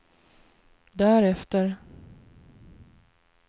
därefter